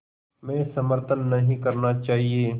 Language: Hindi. में समर्थन नहीं करना चाहिए